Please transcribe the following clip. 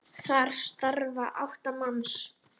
Þar starfa átta manns.